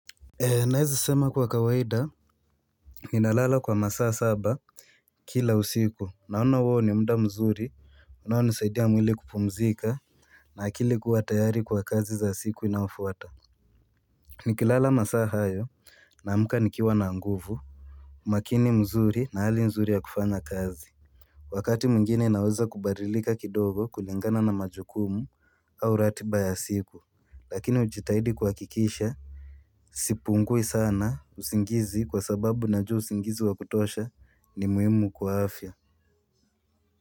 Naeza sema kwa kawaida. Nina lala kwa masaa saba. Kila usiku naona huo ni muda mzuri unao nisaidia mwili kupumzika. Na akili kuwa tayari kwa kazi za siku inayofuata. Nikilala masaa hayo na amka nikiwa na nguvu. Umakini mzuri na hali nzuri ya kufanya kazi. Wakati mwingine naweza kubadilika kidogo kulingana na majukumu au ratiba ya siku lakini hujitahidi kuhakikisha sipungui sana usingizi kwa sababu najua usingizi wakutosha ni muhimu kwa afya.